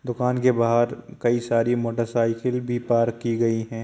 दुकान के बाहर कई सारी मोटर-साइकिल भी पार्क की गयी है।